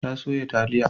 Ta soya taliya.